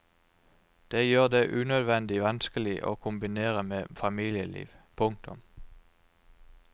Det gjør det unødvendig vanskelig å kombinere med familieliv. punktum